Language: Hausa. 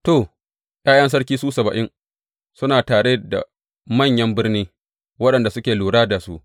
To, ’ya’yan sarki, su saba’in, suna tare da manyan birni waɗanda suke lura da su.